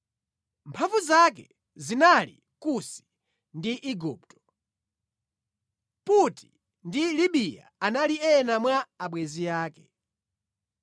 Mphamvu zake zinali Kusi ndi Igupto, Puti ndi Libiya anali ena mwa abwenzi ake.